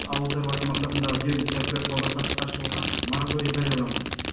ауыл шаруашылығы мақсатындағы жер учаскелері сауда саттыққа шығуға мараторий жарияланған